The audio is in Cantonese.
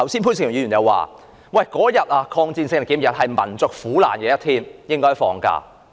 潘兆平議員剛才說，抗戰勝利紀念日是紀念民族苦難的一天，應該放假。